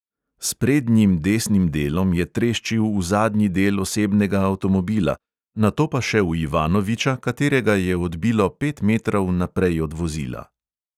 S prednjim desnim delom je treščil v zadnji del osebnega avtomobila, nato pa še v ivanoviča, katerega je odbilo pet metrov naprej od vozila.